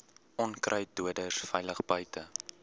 onkruiddoders veilig buite